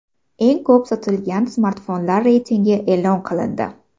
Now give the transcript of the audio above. Eng ko‘p sotilgan smartfonlar reytingi e’lon qilindi.